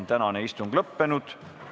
Tänane istung on lõppenud.